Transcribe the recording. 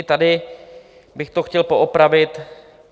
I tady bych to chtěl poopravit.